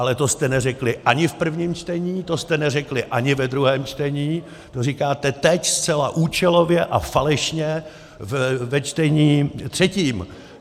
Ale to jste neřekli ani v prvním čtení, to jste neřekli ani ve druhém čtení, to říkáte teď, zcela účelově a falešně ve čtení třetím!